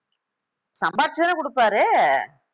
சம்பாதிச்சுதானே குடுப்பாரு